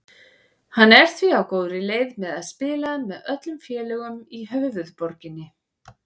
Hann er því á góðri leið með að spila með öllum félögum í höfuðborginni.